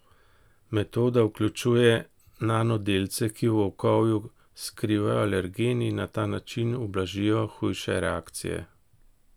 Metoda vključuje nanodelce, ki v ovoju skrivajo alergen in na ta način ublažijo hujše reakcije.